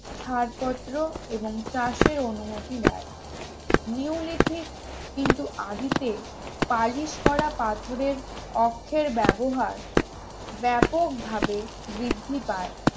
ছাড়পত্র এবং চাষের অনুমতি দেয় নিউলিথিক কিন্তু আদিতে পালিশ করা পাথরের অক্ষের ব্যবহার ব্যাপকভাবে বৃদ্ধি পায়